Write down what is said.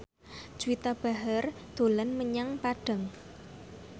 Juwita Bahar dolan menyang Padang